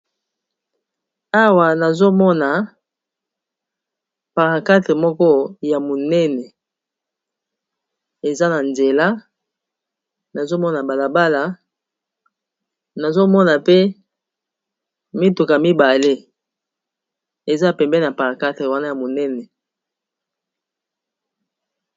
awa nazomona paquarte moko ya monene eza na nzela nazomona balabala nazomona pe mituka mibale eza pembe na para4ate wana ya monene